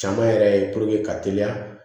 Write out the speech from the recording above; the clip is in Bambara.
Caman yɛrɛ ye ka teliya